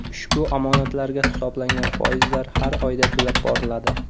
Ushbu omonatlarga hisoblangan foizlar har oyda to‘lab boriladi.